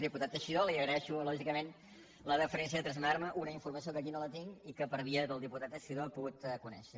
diputat teixidó li agraeixo lògicament la deferència de traslladar me una informació que aquí no tinc i que per via del diputat teixidó he pogut conèixer